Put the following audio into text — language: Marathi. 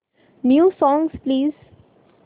new songs please